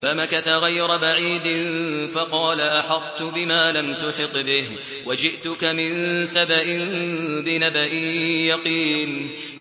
فَمَكَثَ غَيْرَ بَعِيدٍ فَقَالَ أَحَطتُ بِمَا لَمْ تُحِطْ بِهِ وَجِئْتُكَ مِن سَبَإٍ بِنَبَإٍ يَقِينٍ